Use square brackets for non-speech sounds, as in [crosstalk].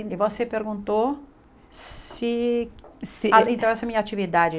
E você perguntou se se... [unintelligible] Então, essa é a minha atividade.